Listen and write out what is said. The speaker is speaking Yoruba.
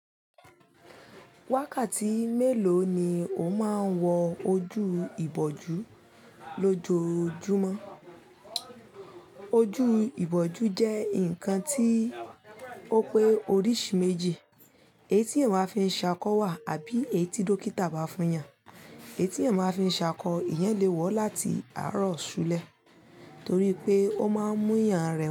Wákàtí mélòó ni o máa ń wọ ojú ìbòjú lójoojúmọ́? Ojú ìbòjú jẹ́ ǹkan tí ó pé oríṣi méjì, èyí tí eyan máa fi ṣàkọ wà àbí èyí tí dókítà bá fún yàn. Èyí tí ẹ̀ máa fi ṣàkọ, ìyẹn lè wọ̀ láti àárọ̀ ṣúlẹ̀ torí pé ó máa ń mú ìyàn rẹ wa.